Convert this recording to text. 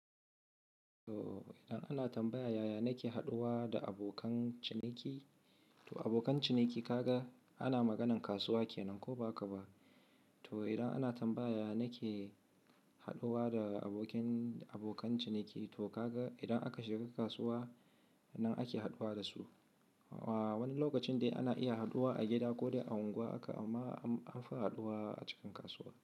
To idan ana tambaya ya ya nake haɗuwa da abokan ciniki, to abokan ciniki kaga ana maganan kasuwa kenan ko ba ka ba? To idan ana tambaya nake haɗuwa da abokin, abokan ciniki to kaga idan aka shiga kasuwa nan ake haɗuwa da su. A--wani lokacin dai ana iya haɗuwa a gida ko dai a unguwa aka amma an fi haɗuwa a cikin kasuwa.